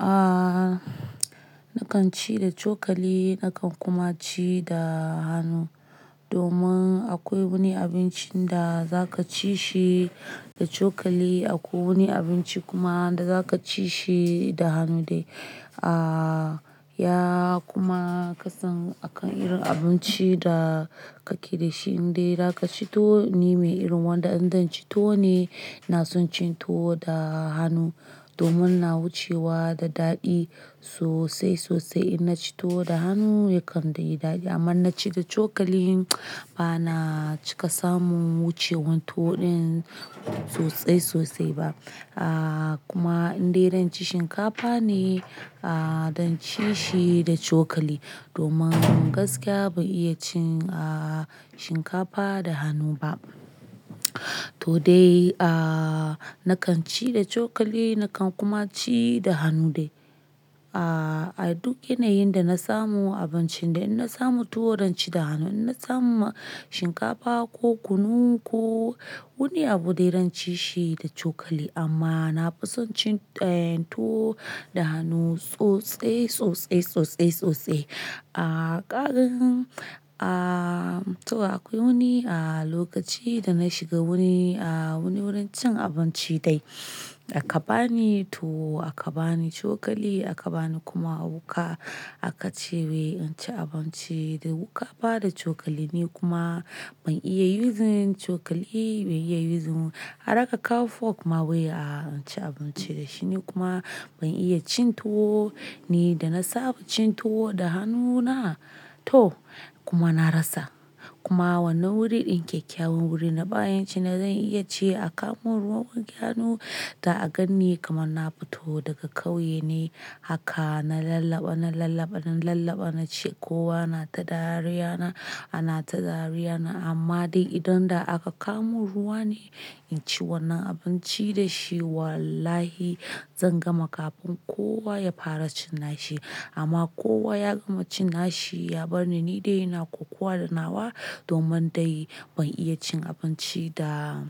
Ah, nakan ci da cokali, nakan kuma ci da hanu. Domin akwai wani abincin da za ka ci shi da cokali, akwai wani abinci kuma da za ka ci shi da hanu dai. Ah, ya kuma kasan akan irin abinci da ka ke da shi in dai za ka ci tuwo, ni mai irin wanda idan zan ci tuwo ne, ina son cin tuwo da hanu, domin na wucewa da daɗi sosai sosai, in na ci tuwo da hanu yakan da yi daɗi. Amma inna ci da cokali ba na cika samu wucewan tuwo ɗin. Sosai sosai ba. Ah, kuma in dai zan ci shinkafa ne, ah, dan ci shi da cokali, domin gaskiya ban iya cin, ah, shinkafa da hanu ba. To dai, ah, nakan ci da cokali, nakan kuma ci da hanu dai. Ah, a duk yanayin da na samu abincin da in na samu tuwo zan ci da hanu, in na samu shinkafa ko kunu ko wani abu dai zan ci shi da cokali, amma na fi son cin, eh, tuwo da hanu sosai sosai sosai sosai. Ah, ƙarin, ah, to akwai wani, ah, lokaci da na shiga wani, ah, wani wurin cin abinci dai. A ka bani tuwo, a ka bani cokali, a ka bani kuma wuƙa. A ka ce "wai in ci abinci da wuƙa ba da cokali" ne kuma ban iya yuzin cokali, ban iya yuzin har aka kawo fok ma wai a in ci abinci da shi. Ni kuma ban iya cin tuwo ni da na saba cin tuwo da hannuna, to kuma na rasa. Kuma wannan wuri ɗin kyakyawan wuri na, bayan cina zan iya ce a kawo mu ruwan wanke hannu, da a ganni kamar na fito daga kauye ne, haka na lallaba, na lallaba, na lallaba na ce kowa na ta dariya na, ana ta dariya na, amma dai idan da aka kamo ruwa ne, in ci wannan abinci da shi wallahi zan gama kafin kowa ya fara cin nashi. Amma kowa ya gama cin nashi ya bar ni ni dai ina kwakwaɗa nawa, domin dai ban iya cin abinci da--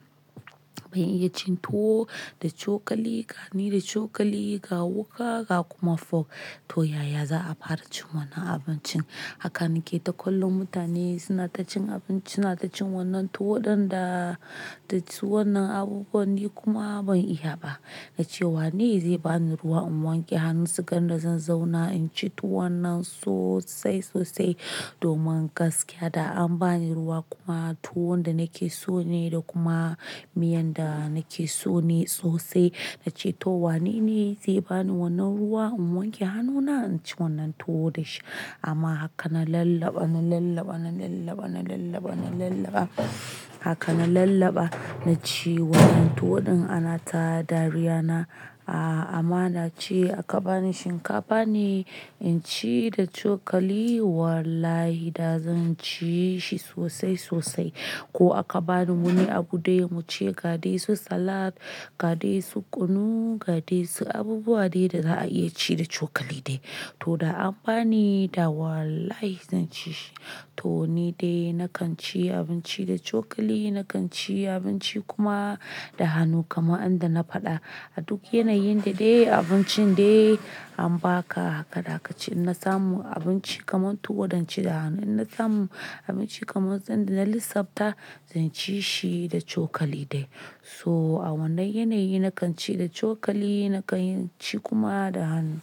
ban iya cin tuwo da cokali ka ni da cokali, ga wuƙa, ga kuma fok. To yaya za a fara cin wannan abincin? Haka nake ta kollon mutane suna ta cin abinci, suna ta cin wannan tuwo ɗin da, tac wannan abubuwan ni kuma ban iya ba. Na ce "wane zai bani ruwa in wanke hannu sugan da zan zauna in ci tuwo wannan sosai sosai domin gaskiya da an bani ruwa kuma tuwo da nake so ne da kuma miyan da nake so ne sosai." Na ce "to wane ne zai bani wannan ruwa in wanke hannuna in ci wannan tuwo da shi?" Amma haka na lallaba, na lallaba, na lallaba, na lallaba, na lallaba. Haka na lallaba na ci wannan tuwo ɗin ana ta dariya na, ah, amma na ce a ka bani shinkafa ne in ci da cokali wallahi da zan ci shi sosai sosai. Ko a ka bani wani abu dai mu ci ga dai su salat, ga dai su kunu, ga dai su abubuwa dai da za a iya ci da cokali dai. To da an bani da wallahi zan ci shi. To ni dai nakan ci abinci da cokali, nakan ci abinci kuma da hanu kamar an da na faɗa. A duk yanayin da dai abincin dai an ba ka haka da ka ci in na samu abinci kaman tuwo zan ci da hanu, in na samu abinci kaman zan da na lissafta zan ci shi da cokali dai. So a wannan yanayi nakan ci da cokali, nakan ci kuma da hanu.